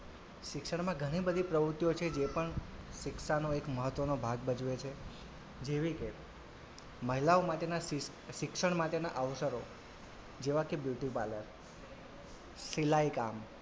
શિક્ષણમાં ઘણી બધી પ્રવુતિઓ છે જે પણ શિક્ષાનો એક મહત્વનો ભાગ ભજવે છે જેવી કે મહિલાઓ માટેના શિક્ષણ માટેના અવસરો જેવા કે beauty parlor સિલાઈ કામ,